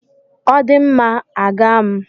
Ọ dị mma, a ga m.